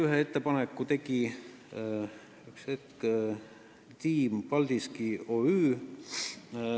Ühe ettepaneku tegi Team Paldiski OÜ.